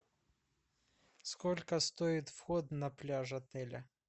сколько стоит вход на пляж отеля